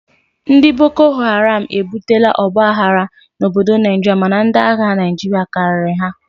Ndị bokoharam ebutela ọgba aghara n'obodo Naijiria mana ndi agha Naijiria karịrị ha